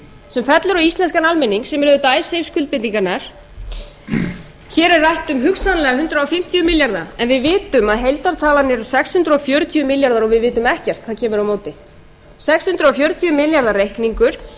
sem fellur á íslenskan almenning sem eru auðvitað icesave skuldbindingarnar hér er rætt um hugsanlega hundrað fimmtíu milljarða en við vitum að heildartalan eru sex hundruð fjörutíu milljarðar og við vitum ekkert hvað kemur á móti sex hundruð fjörutíu milljarða reikningur